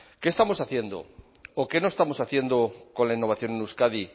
qué estamos haciendo o qué no estamos haciendo con la innovación en euskadi